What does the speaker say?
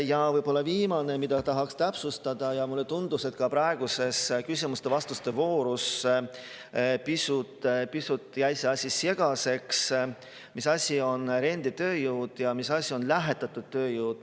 Ja võib-olla viimane, mida tahaks täpsustada, ja mulle tundus, et ka praeguses küsimuste-vastuste voorus jäi see asi pisut segaseks: mis asi on renditööjõud ja mis asi on lähetatud tööjõud.